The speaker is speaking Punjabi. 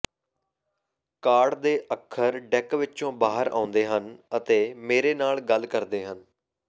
ਕਾਰਡ ਦੇ ਅੱਖਰ ਡੈੱਕ ਵਿਚੋਂ ਬਾਹਰ ਆਉਂਦੇ ਹਨ ਅਤੇ ਮੇਰੇ ਨਾਲ ਗੱਲ ਕਰਦੇ ਹਨ